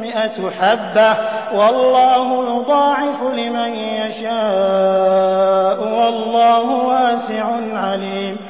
مِّائَةُ حَبَّةٍ ۗ وَاللَّهُ يُضَاعِفُ لِمَن يَشَاءُ ۗ وَاللَّهُ وَاسِعٌ عَلِيمٌ